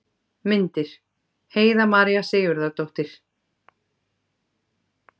Myndir: Heiða María Sigurðardóttir.